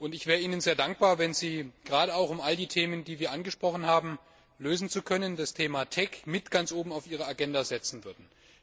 Ich wäre Ihnen sehr dankbar, wenn Sie gerade auch, um all die Probleme, die wir angesprochen haben, lösen zu können das Thema TEC ganz oben auf Ihre Agenda setzen würden.